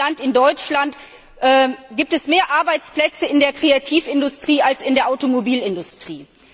In meinem Land, in Deutschland, gibt es mehr Arbeitsplätze in der Kreativindustrie als in der Automobilindustrie.